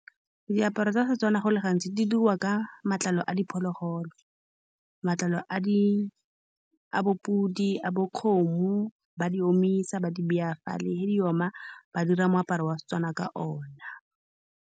Diaparo tsa Setswana go le gantsi di diriwa ka matlalo a diphologolo. Matlalo a di, a bo podi, a bo kgomo, ba di omisa, ba di baya fale. Ge di oma, ba dira moaparo wa Setswana ka one.